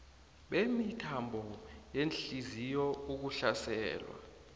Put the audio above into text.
bemithambo yehliziyo ukuhlaselwa